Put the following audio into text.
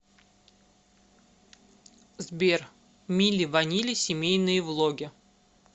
сбер мили ванили семейные влоги